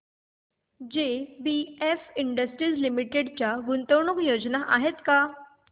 JBF industries limited च्या गुंतवणूक योजना आहेत का